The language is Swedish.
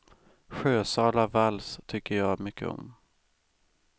Sjösala vals tycker jag mycket om.